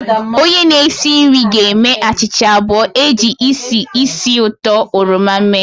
Onye na-esi nri ga-eme achịcha abụọ e ji isi ísì uto oroma mee